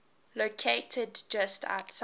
located just outside